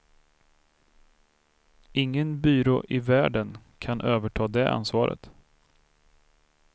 Ingen byrå i världen kan överta det ansvaret.